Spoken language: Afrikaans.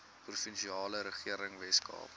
provinsiale regering weskaap